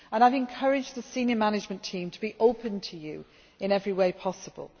I have encouraged the senior management team to be open to you in every way possible.